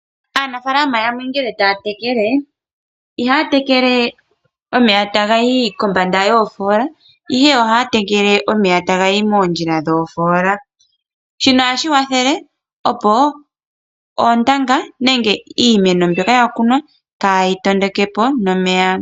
Aanafalama yamwe ngele taya tekele ihaya tekele omeya taga yi kombanda yoofola, ihe ohaya tekele omeya taga yi moondjila dhoofola, shino ohashi kwathele, opo oontanga nenge iimeno mbyoka ya kunwa kaayi tondoke po nomeya.